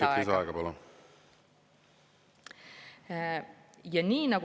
Kolm minutit lisaaega, palun!